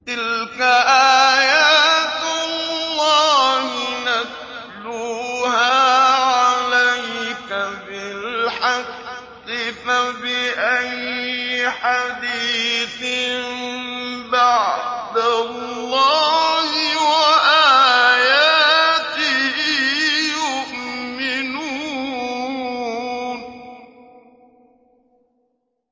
تِلْكَ آيَاتُ اللَّهِ نَتْلُوهَا عَلَيْكَ بِالْحَقِّ ۖ فَبِأَيِّ حَدِيثٍ بَعْدَ اللَّهِ وَآيَاتِهِ يُؤْمِنُونَ